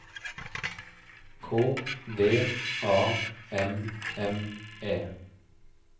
K V A M M E